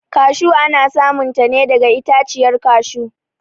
kashu ana samun ta ne daga itaciyar kashu